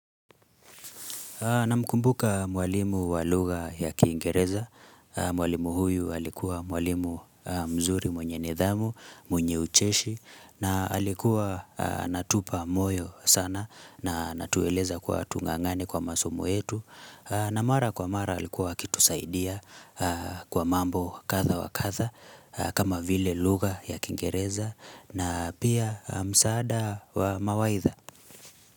Namkumbuka mwalimu wa lugha ya kiingereza. Mwalimu huyu alikuwa mwalimu mzuri mwenye nidhamu, mwenye ucheshi. Na alikuwa anatupa moyo sana na anatueleza kuwa tungangane kwa masomo yetu. Na mara kwa mara alikuwa akitusaidia kwa mambo kadha wa kadha kama vile lugha ya kiingereza na pia msaada wa mawaidha.